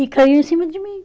E caiu em cima de mim.